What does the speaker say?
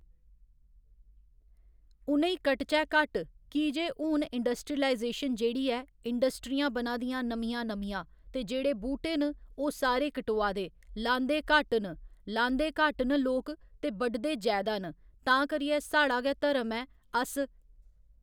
उ'नें ई कटचै घट्ट की जे हून इंडस्ट्रीलाइजेशन जेह्ड़ी ऐ इंडस्ट्रियां बना दियां नमियां नमियां ते जेह्ड़े बूह्टे न ओह् सारे कटोआ दे लांदे घट्ट न लांदे घट्ट न लोक ते बढदे जैदा न तां करियै साढ़ा गै धर्म ऐ अस